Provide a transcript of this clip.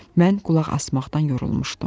Mən qulaq asmaqdan yorulmuşdum.